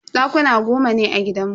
Dakuna goma ne a gidanmu.